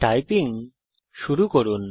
typing শুরু করুন